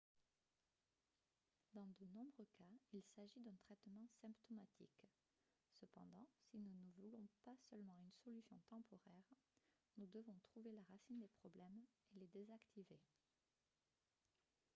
dans de nombreux cas il s'agit d'un traitement symptomatique cependant si nous ne voulons pas seulement une solution temporaire nous devons trouver la racine des problèmes et les désactiver